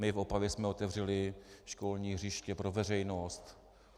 My v Opavě jsme otevřeli školní hřiště pro veřejnost.